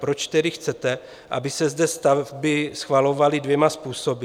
Proč tedy chcete, aby se zde stavby schvalovaly dvěma způsoby?